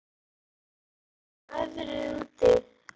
Hallrún, hvernig er veðrið úti?